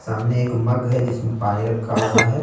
सामने एक मग है जिसमें पानी रखा हुआ है।